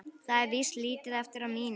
Það er víst lítið eftir af mínum!